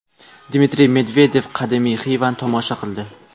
Dmitriy Medvedev qadimiy Xivani tomosha qildi .